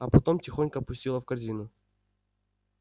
а потом тихонько опустила в корзину